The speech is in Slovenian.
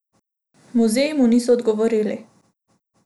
Muzeji mu niso odgovorili.